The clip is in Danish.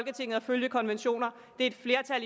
en